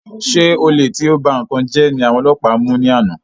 Ṣé olè tí o ba nkán jẹ ní àwọn ọlọpa mú ni àná?